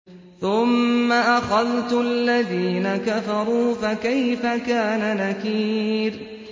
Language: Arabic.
ثُمَّ أَخَذْتُ الَّذِينَ كَفَرُوا ۖ فَكَيْفَ كَانَ نَكِيرِ